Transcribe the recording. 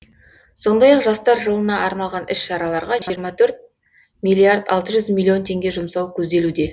сондай ақ жастар жылына арналған іс шараларға жиырма төрт миллиард алты жүз миллион теңге жұмсау көзделуде